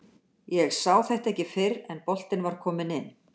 Ég sá þetta ekki fyrr en boltinn var kominn inn.